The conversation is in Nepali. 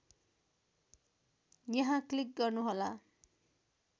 यहाँ क्लिक गर्नुहोला